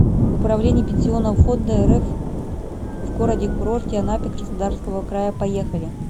управление пенсионного фонда рф в городе курорте анапе краснодарского края поехали